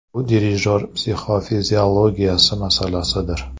Bu dirijor psixofiziologiyasi masalasidir.